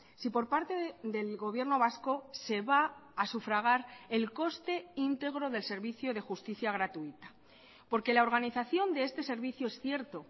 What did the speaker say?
si por parte del gobierno vasco se va a sufragar el coste íntegro del servicio de justicia gratuita porque la organización de este servicio es cierto